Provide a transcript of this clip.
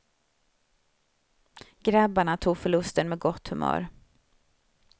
Grabbarna tog förlusten med gott humör.